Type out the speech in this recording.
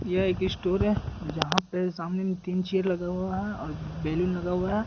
ये एक स्टोर है जहाँ पे सामने में तीन चेयर लगा हुआ है और बैलून लगा हुआ है।